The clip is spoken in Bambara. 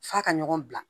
F'a ka ɲɔgɔn bila